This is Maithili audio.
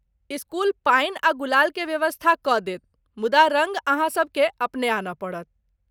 इस्कूल पानि आ गुलाल के व्यवस्था कऽ देत ,मुदा रङ्ग अहाँसबकेँ अपने आनय पड़त।